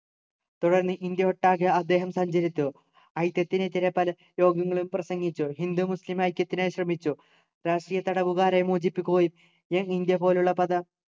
തുടർന്ന് ഇന്ത്യയൊട്ടാകെ അദ്ദേഹം സഞ്ചരിച്ചു ഐക്യത്തിനെതിരെ പല യോഗങ്ങളും പ്രസംഗിച്ചു ഹിന്ദു മുസ്ലിം ഐക്യത്തിനായി ശ്രമിച്ചു രാഷ്ട്രീയ തടവുകാരെ മോചിപ്പിക്കുകയും young ഇന്ത്യ പോലുള്ള പത